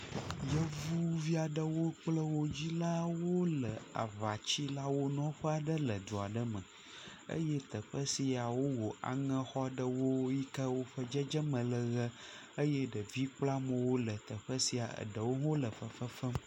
Yevuvi aɖewo kple wo dzilawo le aŋatsilawo nɔƒe aɖe le du aɖe me. eye teƒe sia wowɔ aŋɛxɔ aɖewo yi ke woƒe dzedzeme le ʋee eye ɖeviwo kple amewo le teƒe sia. Eɖewo le fefe fem.